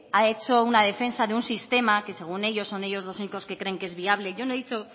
ha hecho una defensa de un sistema que según ellos son ellos los únicos que creen que es viable yo no he dicho